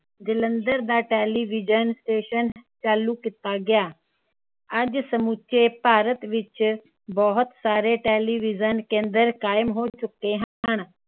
ਜਲੰਧਰ ਦਾ television station ਚਾਲੂ ਕੀਤਾ ਗਿਆ। ਅੱਜ ਸਮੁਚੇ ਭਾਰਤ ਵਿਚ ਬਹੁਤ ਸਾਰੇ ਟੇਲੀਵਿਜਨ ਕੇਂਦਰ ਕਾਇਮ ਹੋ ਚੁਕੇ ਹਨ।